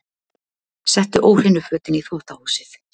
Settu óhreinu fötin í þvottahúsið.